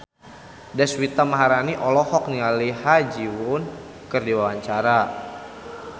Deswita Maharani olohok ningali Ha Ji Won keur diwawancara